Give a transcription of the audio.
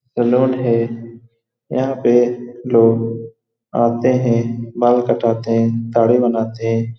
है यहाँ पे लोग आते है बाल कटाते है दाढ़ी बनाते हैं।